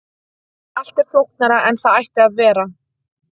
allt er flóknara en það ætti að vera